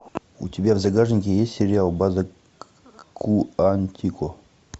у тебя в загашнике есть сериал база куантико